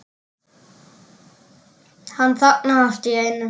Hann þagnaði allt í einu.